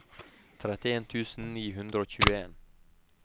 trettien tusen ni hundre og tjueen